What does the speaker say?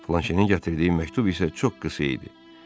Flanşenin gətirdiyi məktub isə çox qısa idi.